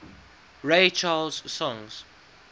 ray charles songs